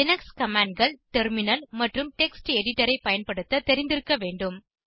Linux commandகள் terminal மற்றும் text எடிடரை பயன்படுத்த தெரிந்திருக்க வேண்டும்